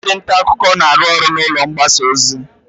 Ndị nta akụkọ na-arụ ọrụ n'ụlọ mgbasa ozi.